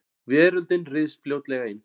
Veröldin ryðst fljótlega inn.